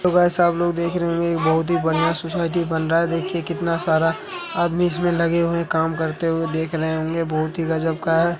सब लोग देख रहे होंगे बहुत ही बढ़िया सोसाइटी बन रहा है देखिए कितना सारा आदमी इसमें लगे हुए काम करते हुए देख रहे होंगे बहुत ही गजब का है।